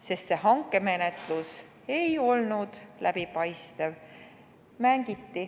See hankemenetlus ei olnud läbipaistev.